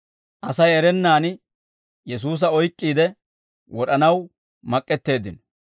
asay erennaan Yesuusa oyk'k'iide, wod'anaw mak'k'eteeddino.